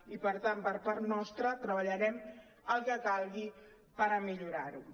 i per tant per part nostra treballarem el que calgui per millorar ho